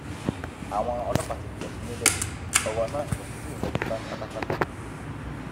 àwọn ọlọpàá ti pọ sí i níbẹ ọrọ náà kò sì tí ì yanjú tán pátápátá